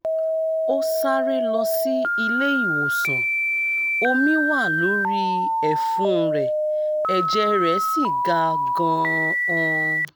ó sáré lọ sí ilé ìwòsàn omi wà lórí ẹ̀fun rẹ̀ ẹ̀jẹ̀ rẹ̀ sì ga gan-an